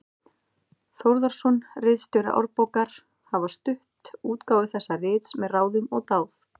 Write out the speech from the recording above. Þórðarson, ritstjóri Árbókar, hafa stutt útgáfu þessa rits með ráðum og dáð.